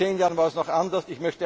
Vor zehn Jahren war es noch